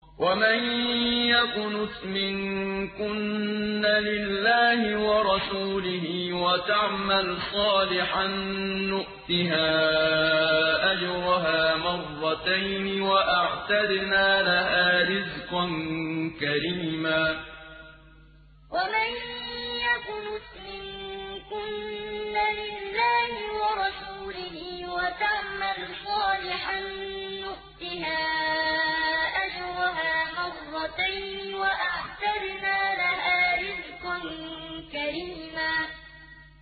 ۞ وَمَن يَقْنُتْ مِنكُنَّ لِلَّهِ وَرَسُولِهِ وَتَعْمَلْ صَالِحًا نُّؤْتِهَا أَجْرَهَا مَرَّتَيْنِ وَأَعْتَدْنَا لَهَا رِزْقًا كَرِيمًا ۞ وَمَن يَقْنُتْ مِنكُنَّ لِلَّهِ وَرَسُولِهِ وَتَعْمَلْ صَالِحًا نُّؤْتِهَا أَجْرَهَا مَرَّتَيْنِ وَأَعْتَدْنَا لَهَا رِزْقًا كَرِيمًا